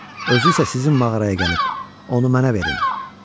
Özü isə sizin mağaraya gəlib, onu mənə verin.